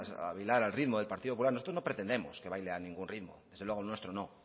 o a bailar al ritmo del partido popular nosotros no pretendemos que baile a ningún ritmo desde luego al nuestro no